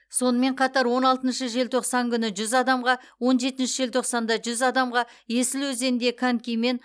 сонымен қатар он алтыншы желтоқсан күні жүз адамға он жетінші желтоқсанда жүз адамға есіл өзенінде конькимен